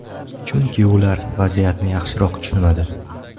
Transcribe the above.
Chunki ular vaziyatni yaxshiroq tushunadi.